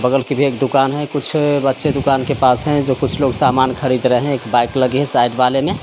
बगल की भी एक दुकान है कुछ बच्चे दुकान के पास हैं जो कुछ लोग सामान खरीद रहे हैं एक बाइक लगी है साइड वाले में।